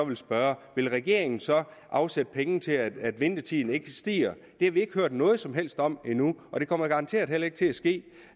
vil spørge vil regeringen så afsætte penge til at ventetiden ikke stiger det har vi ikke hørt noget som helst om endnu og det kommer garanteret heller ikke til at ske